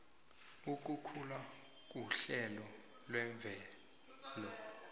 ukukhula kuhlelo lemvelo